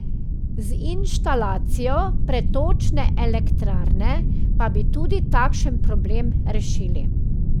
Z inštalacijo pretočne elektrarne pa bi tudi takšen problem rešili.